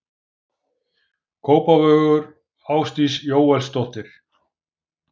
Kópavogur: Ásdís Jóelsdóttir.